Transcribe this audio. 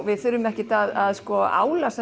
við þurfum ekki að